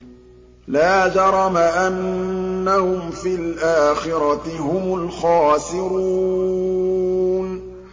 لَا جَرَمَ أَنَّهُمْ فِي الْآخِرَةِ هُمُ الْخَاسِرُونَ